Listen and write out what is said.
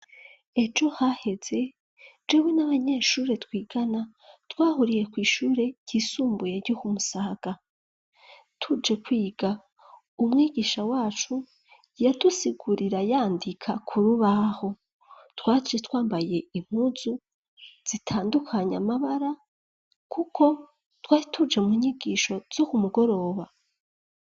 Ejo haheze jewe n'abanyeshure twigana twahuriye kw'ishure ryisumbuye ryokumusaga tuje kwiga umwigisha wacu yadusigurira yandika ku rubaho twace twambaye inkuzu zitandukanye amabara, kuko twahi tuje mu nyigisho zo ku mugoroba.